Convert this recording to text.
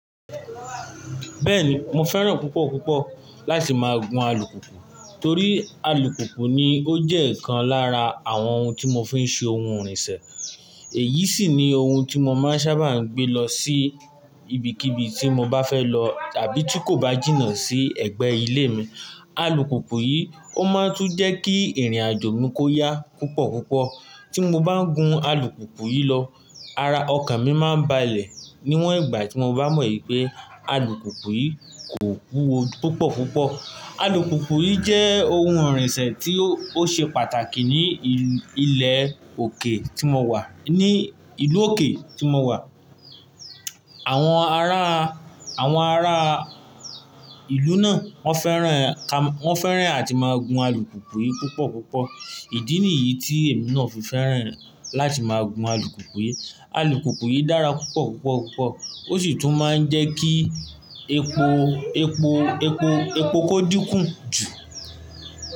Bẹ́ẹ̀ni, mo fẹ́ràn púpọ̀ púpọ̀ láti máa gun alùpùpù torí alùpùpù ni ó jẹ́ ìkan lára àwọn ohun tí mo fi ń ṣe ohun ìrìnsẹ̀. Èyí sì ni ohun tí mo máa ń sábà gbé lọ sí ibikíbi tí mo bá fẹ́ lọ àbí tí kò bá jìnnà sí ẹ̀gbẹ́ ilé mi. Alùpùpù yìí ó máa tún jẹ́ kí ìrìn-àjò mi kó yá púpọ̀ púpọ̀. Tí mo bá ń gun alùpùpù yìí lọ, ara ọkà mi máa ń balẹ̀ níwọ̀n ìgbà tí mo bá mọ̀ wípé alùpùpù yìí kò kúwo púpọ̀ púpọ̀. Alùpùpù yìí jẹ́ ohun ìrìnsẹ̀ tí ó ṣe pàtàkì ní ilẹ̀ òkè tí mo wà, ní ìlú òkè tí mo wà. Àwọn ará, àwọn ará ìlú náà wọ́n fẹ́ràn, wọ́n fẹ́ràn àti máa gun alùpùpù yìí púpọ̀ púpọ̀. Ìdí nìyí tí èmi náà fi fẹ́ràn láti máa gun alùpùpù yìí. Alùpùpù yìí dára púpọ̀, púpọ̀, púpọ̀. Ó sì tún máa ń jẹ́ kí epo, epo, epo, epo kó dínkù jù.